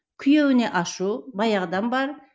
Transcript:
күйеуіне ашу баяғыдан бар